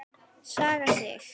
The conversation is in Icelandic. Saga Sig.